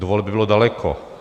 Do voleb bylo daleko.